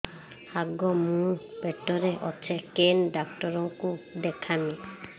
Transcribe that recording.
ଆଗୋ ମୁଁ ପେଟରେ ଅଛେ କେନ୍ ଡାକ୍ତର କୁ ଦେଖାମି